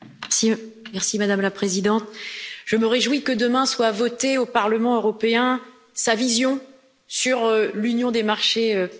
Madame la Présidente, je me réjouis que demain soit votée au Parlement européen sa vision sur l'Union des Marchés de capitaux.